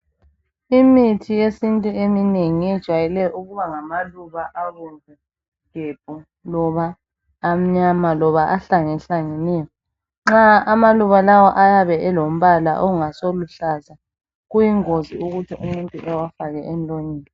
Imithi yesintu eminengi yejwayele ukuba ngamaluba abomvu gebhu loba amnyama loba ahlangahlangeneyo, nxa amaluba lawa ayabe elombala ongasoluhlaza kuyingozi ukuthi umuntu ewafake emlonyeni.